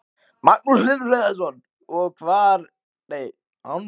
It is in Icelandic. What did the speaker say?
Magnús Hlynur Hreiðarsson: Og, hvort eruð þið betri eða hljómsveitin?